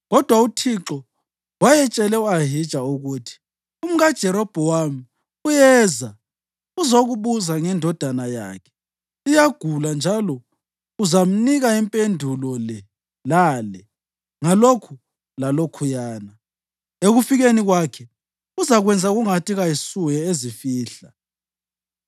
Kodwa uThixo wayetshele u-Ahija ukuthi, “UmkaJerobhowamu uyeza uzokubuza ngendodana yakhe, iyagula, njalo uzamnika impendulo le lale ngalokhu lalokhuyana. Ekufikeni kwakhe uzakwenza kungathi kayisuye ezifihla.”